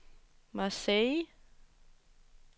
Marseilles